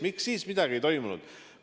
Miks siis midagi ei tehtud?